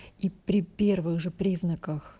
и при первых же признаках